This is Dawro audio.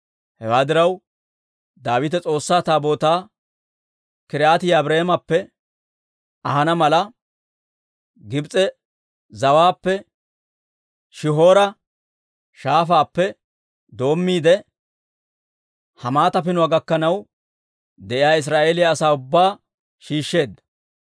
Hewaa diraw, Daawite S'oossaa Taabootaa K'iriyaati-Yi'aariimappe ahana mala, Gibs'e zawaappe Shihoora shaafaappe doommiide, Hamaata Pinuwaa gakkanaw de'iyaa Israa'eeliyaa asaa ubbaa shiishsheedda.